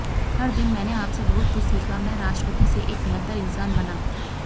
हर दिन मैंने आपसे बहुत कुछ सीखा मैं राष्ट्रपति से एक बेहतर इंसान बना